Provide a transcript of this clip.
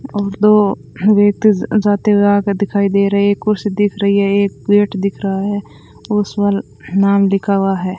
और दो व्यक्ति जाते हुए आगे दिखाई दे रहे है एक कुर्सी दिख रही है एक प्लेट दिख रहा है उस पर नाम लिखा हुआ है।